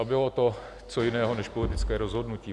A bylo to co jiného než politické rozhodnutí?